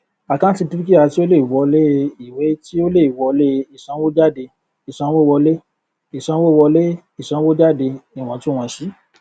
àkántì dúkìá tí ó lè wọlé ìwé tí ó lè wọlé ìsanwójádé ìsanwówọlé ìsanwówọlé ìsanwójáde iwọntúnwọnsì